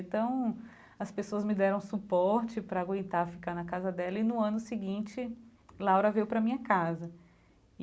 Então, as pessoas me deram suporte para aguentar ficar na casa dela e no ano seguinte, Laura veio para minha casa e.